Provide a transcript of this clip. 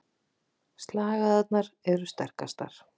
Slagæðarnar eru sterkastar.